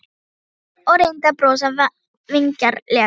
sagði Sveinn og reyndi að brosa vingjarnlega.